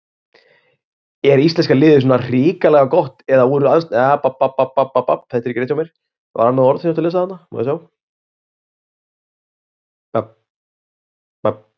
Er íslenska liðið svona svakalega gott eða voru andstæðingarnir svona hrikalega slakir?